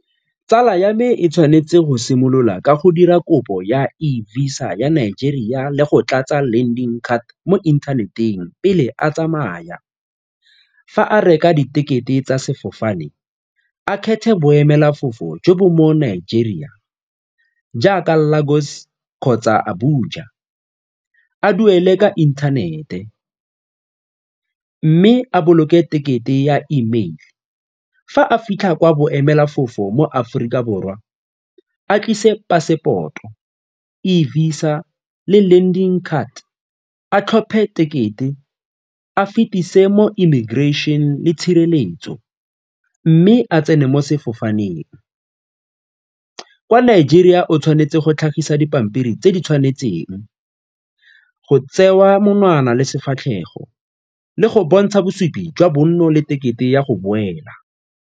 Tsala ya me e tshwanetse go simolola ka dira kopo ya eVISA ya Nigeria le go tlatsa landing card mo inthaneteng pele a tsamaya. Fa a reka ditekete tsa sefofane, a kgethe boemelafofo jo bo mo Nigeria jaaka Lagos kgotsa a duele ka inthanete mme a boloke tekete ya E-mail. Fa a fitlha kwa boemelafofo mo Aforika Borwa a tlise pasepoto, eVISA le landing card, a tlhophe tekete, e fitise mo immigration le tshireletso mme a tsene mo sefofaneng. Kwa Nigeria o tshwanetse go dipampiri tse di tshwanetseng, go tsewa monwana le sefatlhego le go bontsha bosupi jwa bonno le tekete ya go boela.